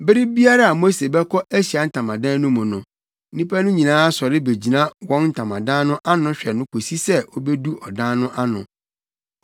Bere biara a Mose bɛkɔ Ahyiae Ntamadan no mu no, nnipa no nyinaa sɔre begyina wɔn ntamadan no ano hwɛ no kosi sɛ obedu ɔdan no ano.